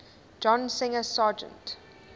john singer sargent